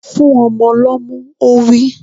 Fún ọmọ lọ́mú! Ó wí.